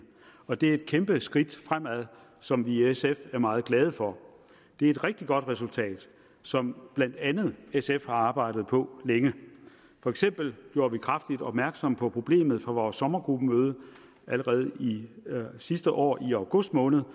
og det er et kæmpe skridt fremad som vi i sf er meget glade for det er et rigtig godt resultat som blandt andet sf har arbejdet på længe for eksempel gjorde vi kraftigt opmærksom på problemet på vores sommergruppemøde allerede sidste år i august måned